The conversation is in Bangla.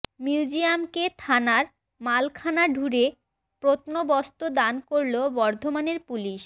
মিউজিয়ামকে থানার মালখানা ঢুঁড়ে প্রত্নবস্তু দান করল বর্ধমানের পুলিশ